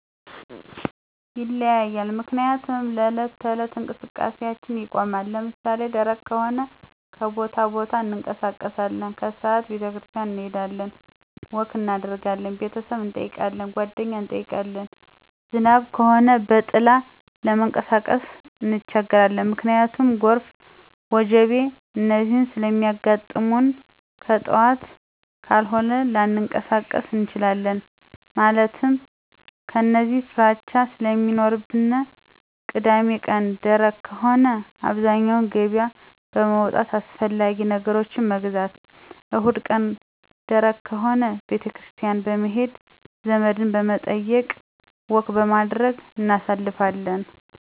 ይለያያል ምክንያቱም ለዕለት ተዕለት እንቀስቃሴአችን ይቆማን። ለምሳሌ ደረቅ ከሆነ ከቦታቦታ እንቀሳቀሳለን። ከስዓት ቤተክርስቲያን እንሄዳለን፣ ወክ እናደርጋለን፣ ቤተሰብ እንጠይቃለን፣ ጓደኛ እንጠይቃለን። ዝናብ ከሆነ በጥላ ለመንቀሳቀስ እንቸገራለን። ምክንያቱም ጎርፍ፣ ወጀቦ፣ እነዚህ ስለሚያጋጥሙንከጥዋት ካልሆነ ላንቀሳቀስ እንችላለን። ማለትም የእነዚህ ፍራቻ ስለሚኖርብን። ቅዳሜቀን ደረቅ ከሆነ አብዛኛው ገበያ በመዉጣት አስፈላጊ ነገሮችን መግዛት። እሁድቀን ደረቅ ከሆነ ቤተክርስቲያን በመሄድ፣ ዘመድበመጠየቅ፣ ወክበማድረግ እናሳልፋለን።